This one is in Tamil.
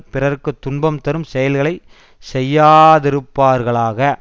பிறர்க்கு துன்பம் தரும் செயல்களை செய்யாதிருப்பார்களாக